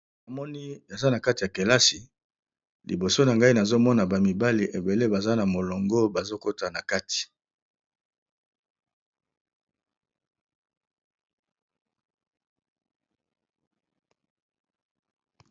Awa namoni eza na kati ya kelasi, liboso na ngai nazomona ba mibali ebele baza na molongo bazokota na kati.